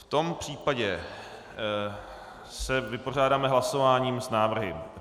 V tom případě se vypořádáme hlasováním s návrhy.